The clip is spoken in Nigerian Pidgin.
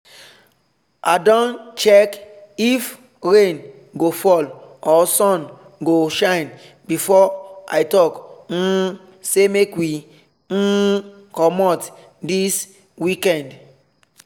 i don check if rain go fall or sun go shine before i talk um say make we um commot this weekend